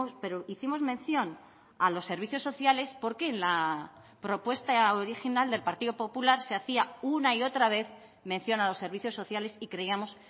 pero hicimos mención a los servicios sociales porque en la propuesta original del partido popular se hacía una y otra vez mención a los servicios sociales y creíamos